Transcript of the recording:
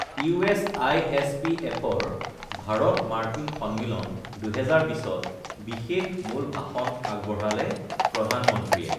US আইএছপিএফৰ ভাৰত মাৰ্কিন সন্মিলন, ২০২০ত বিশেষ মুল ভাষণ আগবঢ়ালে প্ৰধানমন্ত্ৰীয়ে